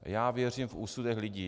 Já věřím v úsudek lidí.